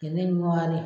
Kɛnɛ ɲuman de